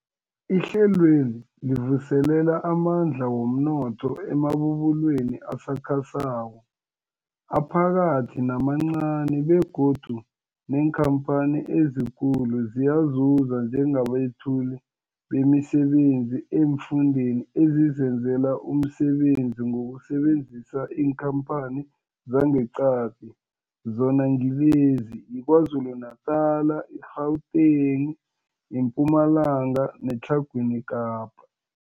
Ihlelweli livuselela amandla womnotho emabubulweni asakhasako, aphakathi namancani begodu neenkhamphani ezikulu ziyazuza njengabethuli bemisebenzi eemfundeni ezizenzela umsebenzi ngokusebenzisa iinkhamphani zangeqadi, zona ngilezi, yiKwaZulu-Natala, i-Gauteng, iMpumalanga neTlhagwini Kapa.